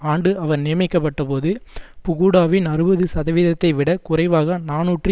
ஆண்டு அவர் நியமிக்கப்பட்ட போது புகூடாவின் அறுபது சதவீதத்தை விட குறைவாக நாநூற்று